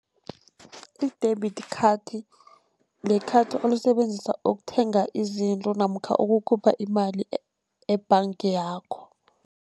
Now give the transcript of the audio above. I-debit khathi li-card olisebenzisa ukuthenga izinto namkha ukukhupha imali e-bank yakho.